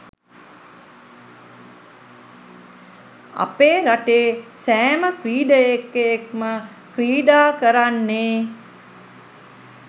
අපේ රටේ සෑම ක්‍රීඩකයෙක්ම ක්‍රීඩා කරන්නෙ